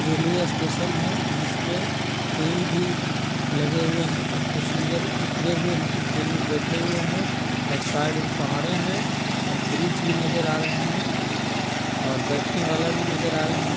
Railway station है जिसपे train भी लगे हुए हैं कुछ पैसेंजर उतरे हुए हैं कुछ ट्रैन में बैठे हुए हैं और साइड में पहाड़े हैं और ब्रिज भी नज़र आ रहे हैं और बैठने वाला भी नज़र आ रहे हैं।